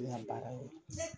Ne baara y'o de